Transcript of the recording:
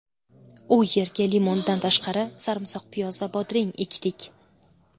U yerga limondan tashqari, sarimsoqpiyoz va bodring ekdik.